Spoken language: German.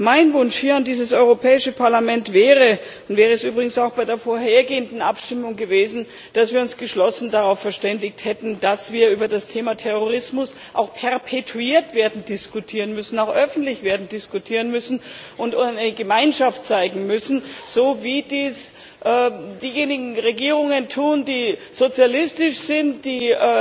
Mein Wunsch hier an dieses Europäische Parlament wäre und wäre es übrigens auch bei der vorhergehenden Abstimmung gewesen dass wir uns geschlossen darauf verständigt hätten, dass wir über das Thema Terrorismus auch perpetuiert werden diskutieren müssen, auch öffentlich werden diskutieren müssen und eine Gemeinschaft werden zeigen müssen, so wie dies diejenigen Regierungen tun, die sozialistisch sind, die